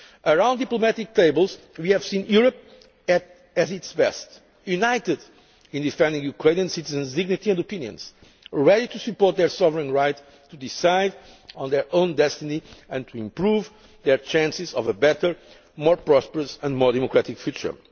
Around diplomatic tables, we saw Europe at its best united in defending Ukrainian citizens' dignity and opinions and ready to support their sovereign right to decide on their own destiny and to improve their chances of a better, more prosperous and more democratic